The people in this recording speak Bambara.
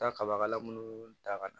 Taa kaba kala munnu ta ka na